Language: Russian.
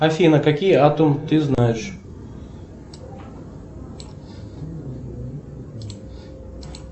афина какие атум ты знаешь